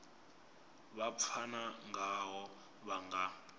vha pfana ngaho vha nga